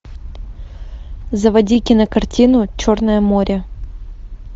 заводи кинокартину черное море